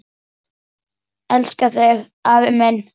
Elska þig, afi minn.